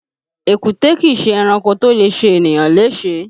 Èkúté kìí ṣe ẹranko tó lè ṣe ènìyàn léṣe